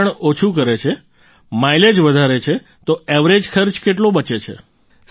પ્રદૂષણ ઓછું કરે છે માઈલેજ વધારે છે તો એવરેજ ખર્ચ કેટલો બચે છે